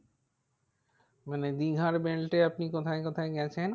মানে দীঘার এ আপনি কোথায় কোথায় গেছেন?